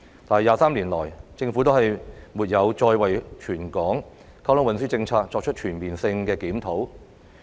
但是 ，23 年過去，政府沒有再為全港運輸政策作出全面性檢討。